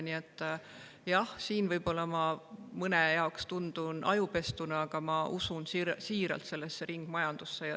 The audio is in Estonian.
Nii et jah, võib-olla ma mõne jaoks tundun ajupestuna, aga ma usun siiralt ringmajandusse.